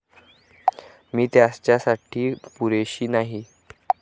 मी त्याच्यासाठी पुरेशी नाहीए.